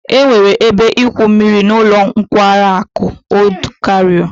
E nwere ebe igwu mmiri n'ulo nkwari aku Old Cairo